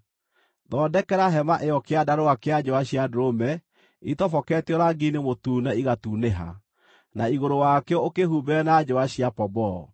Thondekera hema ĩyo kĩandarũa kĩa njũa cia ndũrũme itoboketio rangi-inĩ mũtune igatunĩha, na igũrũ wakĩo ũkĩhumbĩre na njũa cia pomboo.